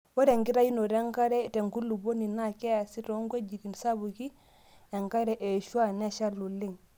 Ore enkitayunoto enkare tenkulupuoni naa keasi toong'wejitin sapuk enkare eshua neeshali oleng'.